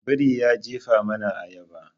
Biri ya jefa mana ayaba.